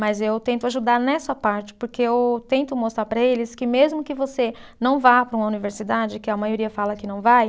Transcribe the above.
Mas eu tento ajudar nessa parte, porque eu tento mostrar para eles que mesmo que você não vá para uma universidade, que a maioria fala que não vai,